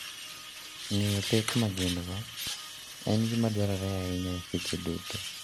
Ng'eyo pek ma gin go en gima dwarore ahinya secheduto.